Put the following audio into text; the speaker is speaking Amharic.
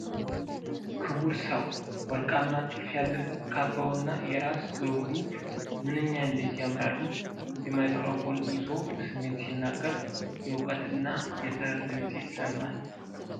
ክቡር ሰው! ወርቃማ ጥልፍ ያለበት ካባው እና የራስ ዘውዱ ምነኛ እንዴት ያምራሉ! የማይክሮፎን ይዞ በስሜት ሲናገር፣ የእውቀትና የጥበብ ድምፅ ይሰማል! (